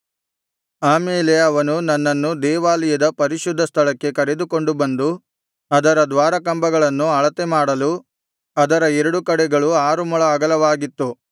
ಆಮೇಲೆ ಅವನು ನನ್ನನ್ನು ದೇವಾಲಯದ ಪರಿಶುದ್ಧ ಸ್ಥಳಕ್ಕೆ ಕರೆದುಕೊಂಡು ಬಂದು ಅದರ ದ್ವಾರಕಂಬಗಳನ್ನು ಅಳತೆ ಮಾಡಲು ಅದರ ಎರಡು ಕಡೆಗಳು ಆರು ಮೊಳ ಅಗಲವಾಗಿತ್ತು